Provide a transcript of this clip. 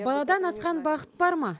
баладан асқан бақыт бар ма